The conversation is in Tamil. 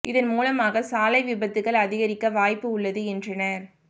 இதன் மூலமாக சாலை விபத்துகள் அதிகரிக்க வாய்ப்பு உள்ளது என்றனா்